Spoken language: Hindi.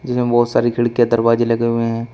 इसमें बहुत सारी खिड़की अ दरवाजे लगे हुए हैं।